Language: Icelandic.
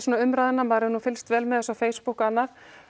umræðuna og maður hefur fylgst vel með þessu á Facebook og annað